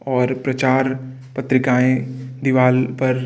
और प्रचार पत्रिकाएं दीवाल पर --